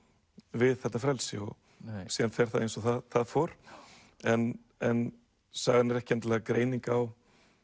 við þetta frelsi síðan fer það eins og það fór en en sagan er ekki endilega greining á